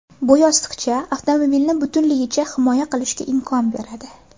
Bu yostiqcha avtomobilni butunligicha himoya qilishga imkon beradi.